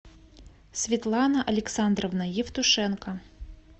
светлана александровна евтушенко